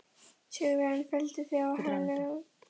Sigurvegarinn felldi þig á hælkrók siðferðisins.